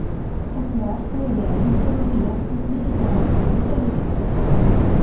Kurdlar Suriyaning hududiy yaxlitligi tarafdori ekanligini bildirdi.